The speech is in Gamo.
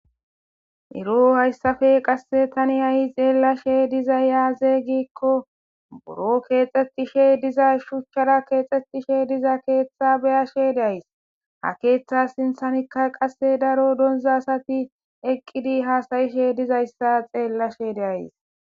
Ero hayssafe qasse tani ayi xeellashe diza yaaze giikko buro keexxetishe diza shuchchara keexxetishe diza keeththa beyashe days ha keeththa sinthamikka qasse daro donzasati eqqidi haasayishe dizayssa xeellashe deayys.